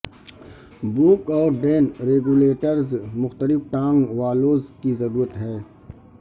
York اور ڈین regulators مختلف ٹانک والوز کی ضرورت ہے